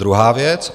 Druhá věc.